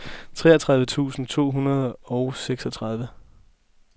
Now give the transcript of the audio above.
treogtredive tusind to hundrede og seksogtredive